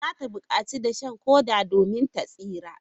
Za ta bukaci dashen koda domin ta tsira.